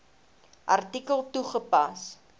artikel toegepas